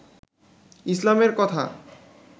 ইসলামের কথা